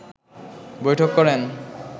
বৈঠক করেন